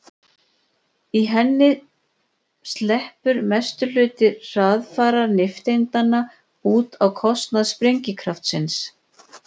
í henni sleppur mestur hluti hraðfara nifteindanna út á kostnað sprengikraftsins